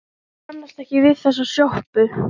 Hann kannast ekki við þessa sjoppu.